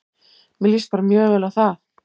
Mér líst bara mjög vel á það.